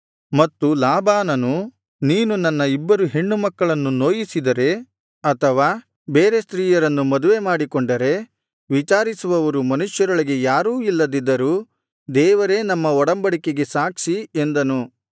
ಮತ್ತು ಲಾಬಾನನು ನೀನು ನನ್ನ ಇಬ್ಬರು ಹೆಣ್ಣುಮಕ್ಕಳನ್ನು ನೋಯಿಸಿದರೆ ಅಥವಾ ಬೇರೆ ಸ್ತ್ರೀಯರನ್ನು ಮದುವೆ ಮಾಡಿಕೊಂಡರೆ ವಿಚಾರಿಸುವವರು ಮನುಷ್ಯರೊಳಗೆ ಯಾರೂ ಇಲ್ಲದಿದ್ದರೂ ದೇವರೇ ನಮ್ಮ ಒಡಂಬಡಿಕೆಗೆ ಸಾಕ್ಷಿ ಎಂದನು